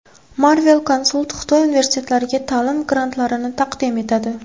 Marvel Consult Xitoy universitetlariga ta’lim grantlarini taqdim etadi!